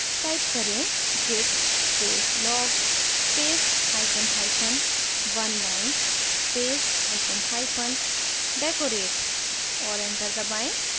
type करें: git space log space hyphen hyphen oneline space hyphen hyphen decorate और enter दबाएँ